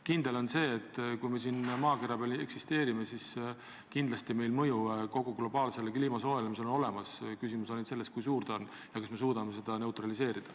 Kindel on see, et kui me siin maakera peal eksisteerime, siis kindlasti meie mõju kliima globaalsele soojenemisele on olemas, küsimus on ainult selles, kui suur ta on ja kas me suudame seda neutraliseerida.